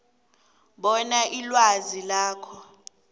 bona ilwazi lakho